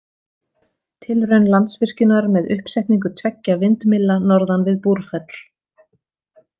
Tilraun Landsvirkjunar með uppsetningu tveggja vindmylla norðan við Búrfell.